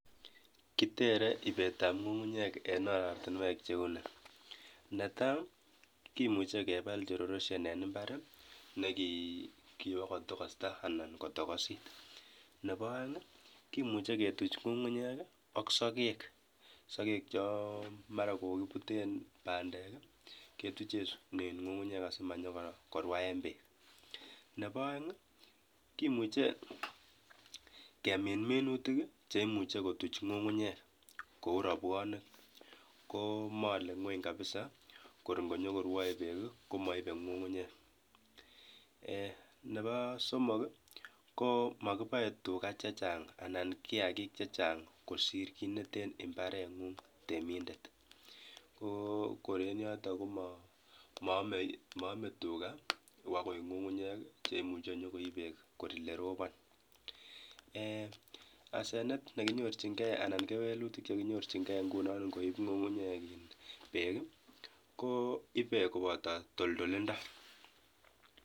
Kitere ibet ab ngungunyek en oratinwek chekile netai kemuche keba cs soil erosion cs en imbarkuyokosta anan kotokosit Nebo aeng kimuche ketuch ngungunyek AK sagek chon mara kokibuten bandek ketuchen ngungunyek asimakonyo korwaen bek Nebo aeng kimuche kemin minutik cheimuche kutuch ngungunyek Kou rabwanik komale ngweny kabisakor ngonyokorwae bek komaibe ngungunyek Nebo somok komakibae tuga chechang anan kiyaki chechang kosir ki neten imbaren ngung temindet kokor en yoton komame tuga koik ngungunyek cheimuche koib bek yerobon asenet nekinyorchin gei aln kewelutik chikinyorchingei koibe kobata toltolindo